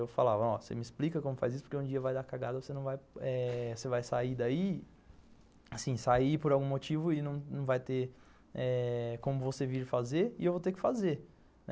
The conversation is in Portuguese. Eu falava, ó, você me explica como faz isso porque um dia vai dar cagada, você vai sair daí, assim, sair por algum motivo e não vai ter eh como você vir fazer e eu vou ter que fazer.